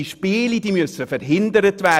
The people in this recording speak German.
Diese Spiele müssen verhindert werden!